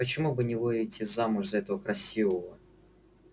почему бы не выйти замуж за этого красивого